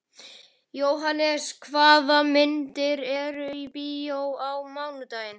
Jóhannes, hvaða myndir eru í bíó á mánudaginn?